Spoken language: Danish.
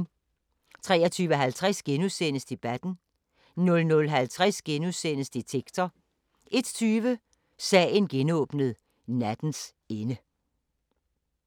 23:50: Debatten * 00:50: Detektor * 01:20: Sagen genåbnet: Nattens ende